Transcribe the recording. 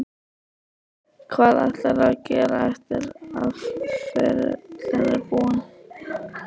Hvað ætlarðu að gera eftir að ferilinn er búinn?